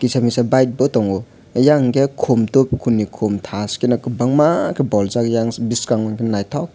kisa misa bike bo tongo eyang hingke komtok komni komtai tashkeno kobangma baljak eyang biskango naitok ke.